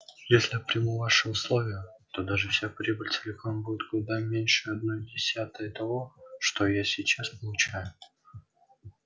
если я приму ваши условия то даже вся прибыль целиком будет куда меньше одной десятой того что я сейчас получаю